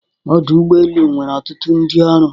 Ọdụ ụgbọ elu nwere ọtụtụ ndị ọrụ.